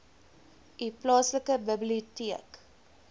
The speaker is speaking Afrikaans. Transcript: u plaaslike biblioteek